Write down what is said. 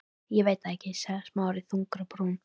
Ég veit það ekki- sagði Smári þungur á brún.